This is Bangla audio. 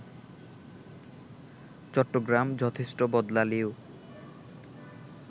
চট্টগ্রাম যথেষ্ট বদলালেও